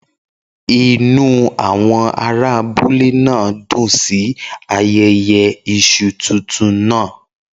Inú àwọn ará abúlé náà dùn sí ayẹyẹ yam tuntun náà.